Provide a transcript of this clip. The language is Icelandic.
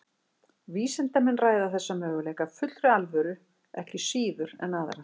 Vísindamenn ræða þessa möguleika af fullri alvöru ekki síður en aðra.